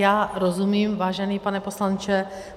Já rozumím, vážený pane poslanče.